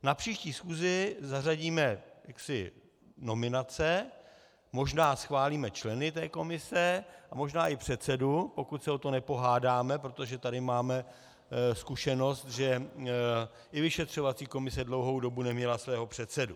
Na příští schůzi zařadíme nominace, možná schválíme členy té komise a možná i předsedu, pokud se o to nepohádáme, protože tady máme zkušenost, že i vyšetřovací komise dlouhou dobu neměla svého předsedu.